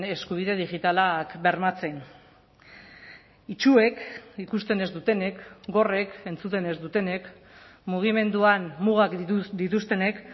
eskubide digitalak bermatzen itsuek ikusten ez dutenek gorrek entzuten ez dutenek mugimenduan mugak dituztenek